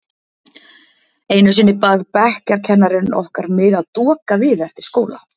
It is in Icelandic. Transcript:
Einu sinni bað bekkjarkennarinn okkar mig að doka við eftir skóla.